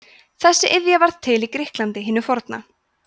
þessi iðja varð til í grikklandi hinu forna